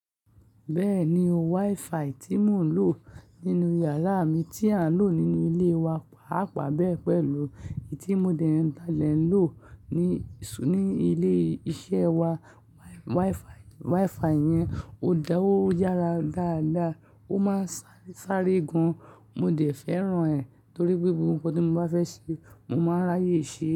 Bẹ́ẹ̀ni o, WiFi tí mò ń lò nínú yàrá mi tí à ń lò nínú ilé wa, pàápàá bẹ́ẹ̀ pẹ̀lú èyí tí mo dẹ̀ lálẹ́ lò ní ilé iṣẹ́ wa. WiFi yẹn ó dáwó yára dáadáa, ó máa ń sáré sáré gan. Mo dẹ̀ fẹ́ràn rẹ̀ torí pé ohun gbogbo tí mo bá fẹ́ ṣe, mo máa ráyè ṣe é.